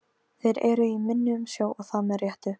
Þeir eru í minni umsjá og það með réttu.